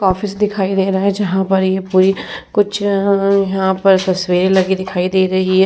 Office दिखाई दे रहा है जहां पर ये पूरी कुछ अअ यहां पर तस्वीरे लगी दिखाई दे रही है।